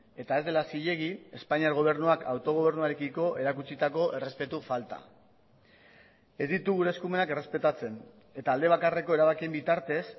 eta ez dela zilegi espainiar gobernuak autogobernuarekiko erakutsitako errespetu falta ez ditu gure eskumenak errespetatzen eta alde bakarreko erabakien bitartez